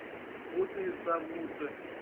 мутные замуты